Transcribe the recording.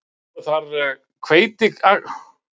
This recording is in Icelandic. Voru þar hveitiakrar sjálfsánir og vínviður vaxinn.